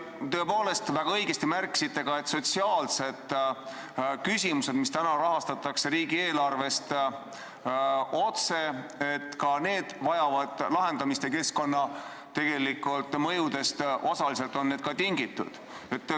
Tõepoolest, te väga õigesti märkisite, et sotsiaalsed küsimused, mida rahastatakse riigieelarvest otse, vajavad lahendamist ja tegelikult on need osaliselt keskkonnamõjudest tingitud.